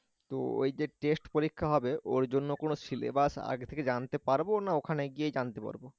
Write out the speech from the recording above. তো ওই যে test পরীক্ষা হবে ওর জন্যে কোন syllabus আগে থেকে জানতে পারবো না ওখানে গিয়েই জানতে পারবো?